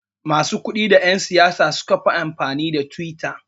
Masu kudi da yan siyasa sukafi amfani da twitter